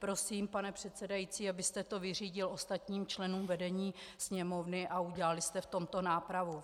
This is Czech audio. Prosím, pane předsedající, abyste to vyřídil ostatním členům vedení Sněmovny a udělali jste v tomto nápravu.